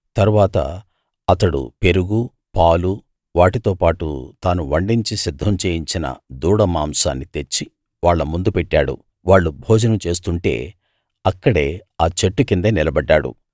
తరువాత అతడు పెరుగూ పాలూ వాటితోపాటు తాను వండించి సిద్ధం చేయించిన దూడ మాంసాన్ని తెచ్చి వాళ్ళ ముందు పెట్టాడు వాళ్ళు భోజనం చేస్తుంటే అక్కడే ఆ చెట్టు కిందే నిలబడ్డాడు